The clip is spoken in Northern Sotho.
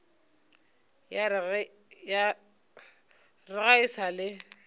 re ga e sa le